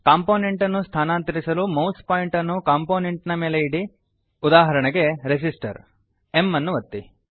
component ಅನ್ನು ಸ್ಥಾನಾಂತರಿಸಲು mouse pointer ಅನ್ನು ಕಂಪೊನೆಂಟ್ ನ ಮೇಲೆ ಇಡಿ ಉದಾಹರಣೆಗೆ ರೆಸಿಸ್ಟರ್ m ಅನ್ನು ಒತ್ತಿ